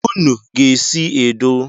Unu ga-esi edo